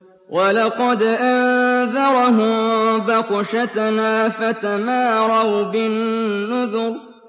وَلَقَدْ أَنذَرَهُم بَطْشَتَنَا فَتَمَارَوْا بِالنُّذُرِ